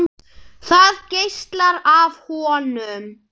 Það geislar af honum.